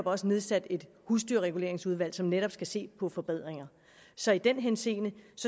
også nedsat et husdyrreguleringsudvalg som netop skal se på forbedringer så i den henseende